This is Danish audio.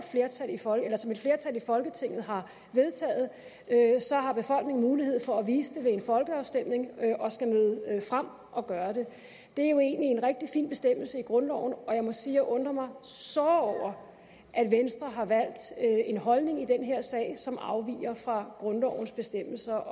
flertal i folketinget har vedtaget har befolkningen mulighed for at vise det ved en folkeafstemning og skal møde frem og gøre det det er jo egentlig en rigtig fin bestemmelse i grundloven og jeg må sige at jeg undrer mig såre over at venstre har valgt en holdning i den her sag som afviger fra grundlovens bestemmelser